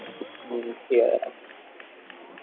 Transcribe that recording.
হম ঠিকাছে রাখ।